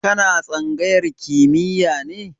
Ka na tsangayar kimiya ne?